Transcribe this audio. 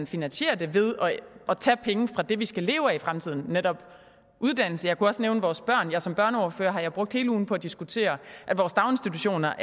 finansiere det ved at tage penge fra det vi skal leve af i fremtiden nemlig uddannelse og jeg kunne også nævne vores børn som børneordfører har jeg brugt hele ugen på at diskutere at vores daginstitutioner